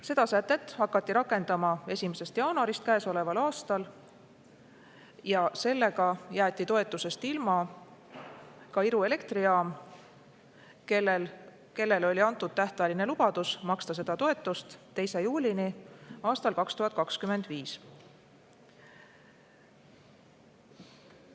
Seda sätet hakati rakendama 1. jaanuarist käesoleval aastal ja sellega jäeti toetusest ilma ka Iru elektrijaam, kellele oli antud tähtajaline lubadus maksta seda toetust 2. juulini aastal 2025.